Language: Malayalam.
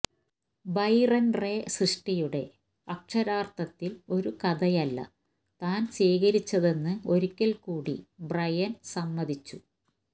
ബൈറൻറെ സൃഷ്ടിയുടെ അക്ഷരാർഥത്തിൽ ഒരു കഥയല്ല താൻ സ്വീകരിച്ചതെന്ന് ഒരിക്കൽ കൂടി ബ്രയൻ സമ്മതിച്ചു